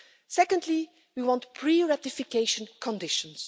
Secondly, we want pre ratification conditions.